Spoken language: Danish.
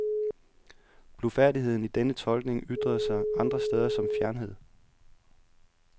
Blufærdigheden i denne tolkning ytrede sig andre steder som fjernhed.